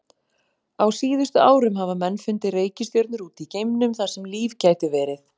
Á síðustu árum hafa menn fundið reikistjörnur út í geimnum þar sem líf gæti verið.